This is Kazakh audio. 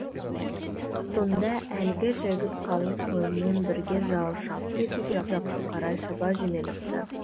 сонда әлгі жігіт қалың қолмен бірге жау шапты деген жаққа қарай шаба жөнеліпті